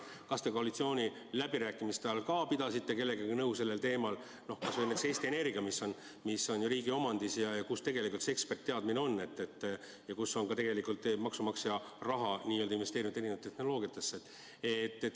Kas te koalitsiooniläbirääkimiste ajal pidasite sellel teemal kellegagi nõu, kas või näiteks Eesti Energiaga, mis on riigi omandis ja kus on sellealane eksperditeadmine ja kus on ka maksumaksja raha investeeritud erinevatesse tehnoloogiatesse?